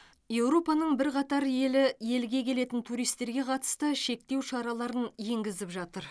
еуропаның бірқатар елі елге келетін туристерге қатысты шектеу шараларын енгізіп жатыр